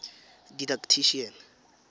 didactician